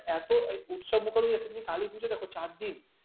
এত উৎসবমুখর হয়ে যাচ্ছে কালী পুজো দেখো চারদিন